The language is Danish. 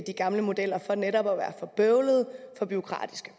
gamle modeller for netop at være for bøvlede for bureaukratiske